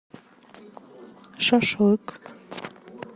шашлык